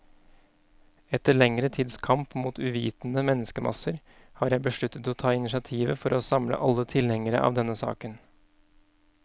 Etter lengre tids kamp mot uvitende menneskemasser, har jeg besluttet å ta initiativet for å samle alle tilhengere av denne saken.